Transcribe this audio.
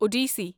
Odissi